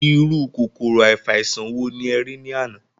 Irú kòkòrò afàìsàn wòó nì ẹ rí ní àná?